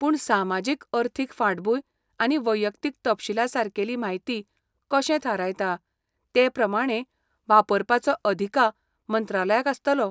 पूण सामाजीक अर्थीक फांटभूंय आनी वैयक्तीक तपशीला सारकेली म्हायती कशें थारायता ते प्रमाणें वापरपाचो अधिकार मंत्रालयाक आसतलो.